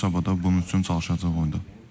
Sabah da bunun üçün çalışacağıq.